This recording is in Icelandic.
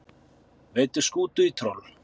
Veiddu skútu í troll